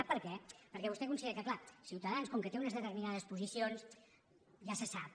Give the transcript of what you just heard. sap per què perquè vostè considera que és clar ciutadans com que té unes determinades posicions ja se sap